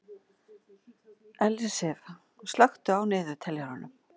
Ellisif, slökktu á niðurteljaranum.